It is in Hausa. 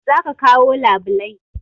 Za ka kawo labulai